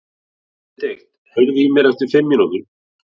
Benedikt, heyrðu í mér eftir fimm mínútur.